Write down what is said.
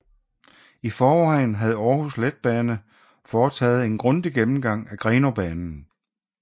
I forvejen havde Aarhus Letbane foretaget en grundig gennemgang af Grenaabanen